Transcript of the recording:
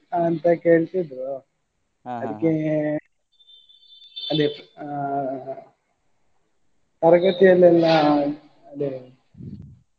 ಅಂತ ಕೇಳ್ತಿದ್ರು ಅದೇ ಆ ತರಗತಿಯಲ್ಲೆಲ್ಲ ಅದೇ.